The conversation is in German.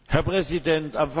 Herr Präsident!